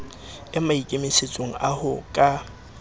e maikemisetsong a ho ka